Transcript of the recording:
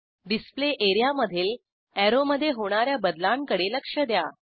display एरियामधील अॅरोमधे होणा या बदलांकडे लक्ष द्या